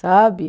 Sabe?